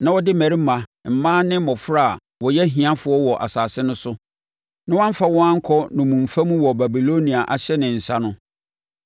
na ɔde mmarima, mmaa ne mmɔfra a wɔyɛ ahiafoɔ wɔ asase no so, na wɔamfa wɔn ankɔ nnommumfa mu wɔ Babilonia ahyɛ ne nsa no,